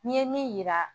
N'i ye min yira